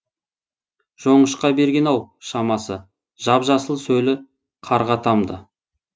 жоңышқа берген ау шамасы жап жасыл сөлі қарға тамды